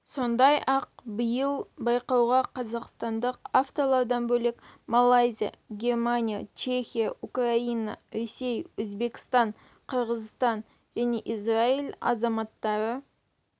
сондай-ақ биыл байқауға қазақстандық авторлардан бөлек малайзия германия чехия украина ресей өзбекстан қырғызстан және израиль азаматтары